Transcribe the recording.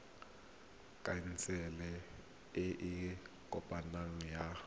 khansele e e kopaneng ya